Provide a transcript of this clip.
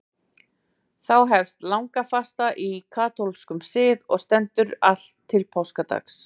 Þá hefst langafasta í katólskum sið og stendur allt til páskadags.